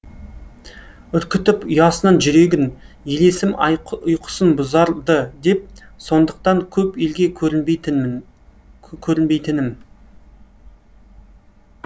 үркітіп ұясынан жүрегін елесім ұйқысын бұзар ды деп сондықтан көп елге көрінбейтінмін көрінбейтінім